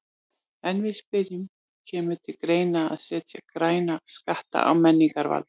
En við spyrjum, kemur til greina að setja græna skatta á mengunarvalda?